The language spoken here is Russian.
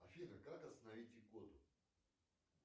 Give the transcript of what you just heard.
афина как остановить икоту